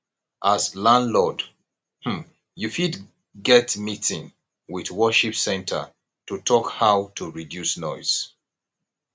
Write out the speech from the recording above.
as landlord um you fit get meeting with worship centre to talk how to reduce noise